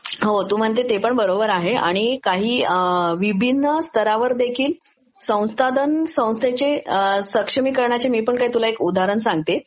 हो तू म्हणते ते पण बरोबर आहे आणि काही विभिन स्तरा वर देखिल संसाधन संस्थेचे सक्षमीकरणाचे मी काही तुला एक उदाहरण सांगते